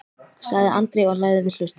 sagði Andri og lagði við hlustir.